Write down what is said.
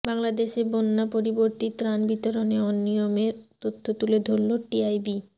বাংলাদেশে বন্যাপরবর্তী ত্রাণ বিতরণে অনিয়মের তথ্য তুলে ধরল টিআইবি